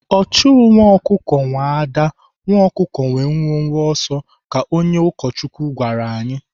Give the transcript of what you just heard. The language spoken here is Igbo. Ọchụ nwa ọkụkọ nwee ada, nwa ọkụkọ nwee mwe mwe ọsọ ka onye ụkọchukwu gwara anyị.